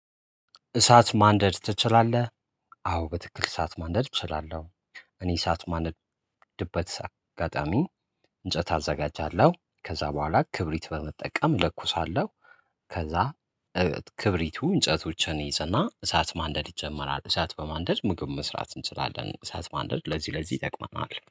እሳት ማንደድ ትችላለህ? አዎ በትክክል እሳት ማንደድ እችላለሁ እኔ እሳት ማነ ድበት አጋጣሚ እንጨት አዘጋጃለሁ ከዛ በኋላ ክብሪት በመጠቀም እለኩሳለሁ። ከዛ ክብሪቱ እንጨቶችን ይይዝና እሳት ማንደድ ይጀመራል። እሳት በማንደድ ምግብ መስራት እንችላለን። እሳት ማንደድ ለዚህ ለዚህ ይጠቅማል